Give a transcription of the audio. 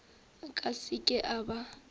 a ka seke a ba